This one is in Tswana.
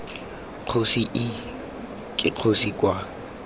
kgosi ii ke kgosi kwa